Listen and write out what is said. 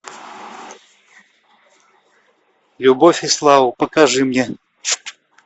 любовь и слава покажи мне